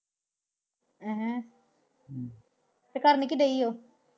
ਹਮ ਤੇ ਕਰਨ ਕੀ ਰਹੀ ਉਹ?